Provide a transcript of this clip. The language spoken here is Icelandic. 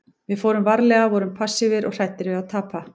Við fórum varlega, vorum passífir og hræddir við að tapa.